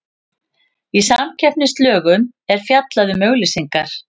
Í samkeppnislögum er fjallað um auglýsingar.